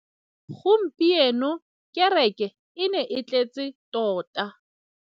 Gompieno kêrêkê e ne e tletse tota.